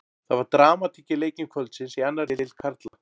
Það var dramatík í leikjum kvöldsins í annarri deild karla.